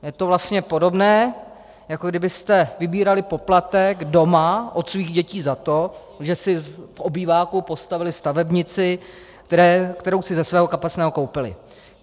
Je to vlastně podobné, jako kdybyste vybírali poplatek doma od svých dětí za to, že si v obýváku postavily stavebnici, kterou si ze svého kapesného koupily.